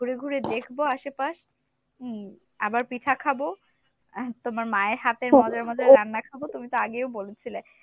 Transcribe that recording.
ঘুরে ঘুরে দেখবো আশেপাশ হম আবার পিঠা খাবো আহ তোমার মায়ের হাতের মজার মজার রান্না খাবো, তুমি তো আগেও বলেছিলে